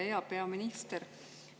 Hea peaminister!